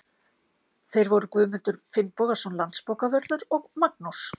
Þeir voru Guðmundur Finnbogason landsbókavörður og Magnús